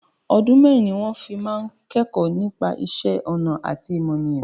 Ọdún mẹ́ẹ́rin ni wọn fi máa ń kẹ́kọ̀ọ́ nípa ìṣẹ́ ọnà àti ọmọnìyàn